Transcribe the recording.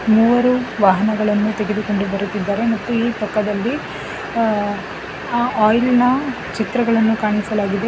ಮೂರು ವಾಹನಗಳನ್ನು ತೆಗೆದುಕೊಂಡು ಬರುತ್ತಿದ್ದಾರೆ ಮತ್ತು ಈ ಪಕ್ಕದಲ್ಲಿ ಅ ಆ ಆಯಿಲ್ ನ ಚಿತ್ರಗಳನ್ನು ಕಾಣಿಸಲಾಗಿದೆ.